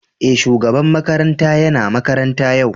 Eh, shugaban makaranta yana makaranta yau.